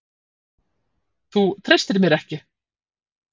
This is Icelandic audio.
Þú treystir mér ekki!